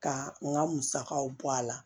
Ka n ka musakaw bɔ a la